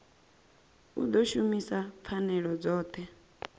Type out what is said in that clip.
u ḓo shumisa pfanelo dzoṱhe